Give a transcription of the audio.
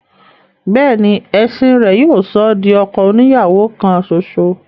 béèni ẹ̀sìn rẹ̀ yóò sọ ọ́ di ọkọ oni ìyàwó kan ṣoṣo.